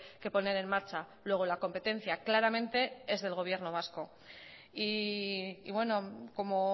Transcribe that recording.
que poner en marcha luego la competencia claramente es del gobierno vasco y como